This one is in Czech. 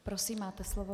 Prosím, máte slovo.